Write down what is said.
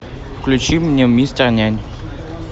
включи мне мистер нянь